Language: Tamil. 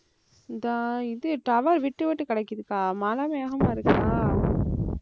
இந்த இது tower விட்டு விட்டு கிடைக்குதுக்கா. மழை வேகமா இருக்கா